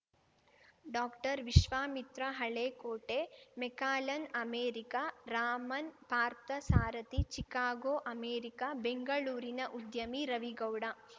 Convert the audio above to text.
doctor Vishwamitra Halekote McAllen America Raman Parthasarathy Chicago America ಬೆಂಗಳೂರಿನ ಉದ್ಯಮಿ ರವಿಗೌಡ